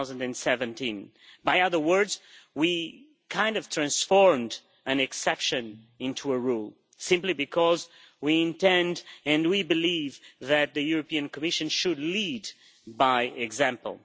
2017. In other words, we kind of transformed an exception into a rule simply because we intend and we believe that the Commission should lead by example.